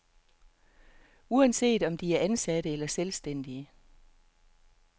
Uanset om de er ansatte eller selvstændige.